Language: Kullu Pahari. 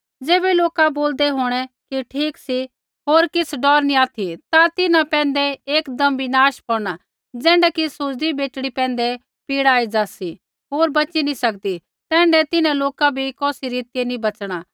ज़ैबै लोका बोलदै होंणै कि ठीक सी होर किछ़ डौर नी ऑथि ता तिन्हां पैंधै एकदम विनाश पौड़ना ज़ैण्ढा कि सुज़दी बेटड़ी पैंधै पीड़ा एज़ा सी होर बच़ी नी सकदी तैण्ढै तिन्हां लोका बी कौसी रीतियै नी बच़णा